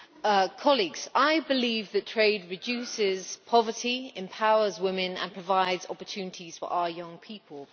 Mr President, I believe that trade reduces poverty, empowers women and provides opportunities for our young people.